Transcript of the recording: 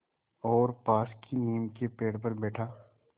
और पास की नीम के पेड़ पर बैठा